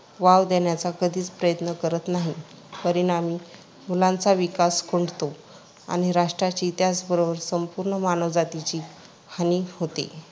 Wow देण्याचा कधीच प्रयत्न करत नाहीत. परिणामी मुलांचा विकास खुंटतो आणि राष्ट्राची त्याचबरोबर संपूर्ण मानवजातीची हानी होते.